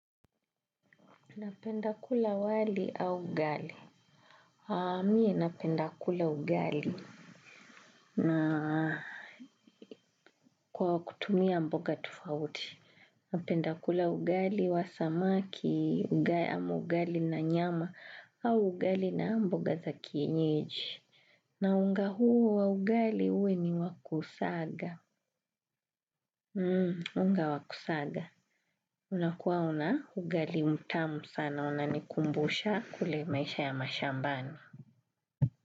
Napenda kula wali au ugali. Mie napenda kula ugali. Na kwa kutumia mboga tofauti napenda kula ugali wa samaki ugali na nyama au ugali na mboga za kienyeji. Na unga huu wa ugali uwe ni wa kusaga. Unga wa kusaga. Unakuwa na ugali mtamu sana unanikumbusha kule maisha ya mashambani.